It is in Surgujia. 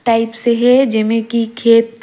टाइप से हे जेमे की खेत--